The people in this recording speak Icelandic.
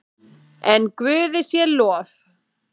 En Guði sé lof.